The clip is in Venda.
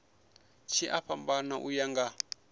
tshi a fhambana uya nga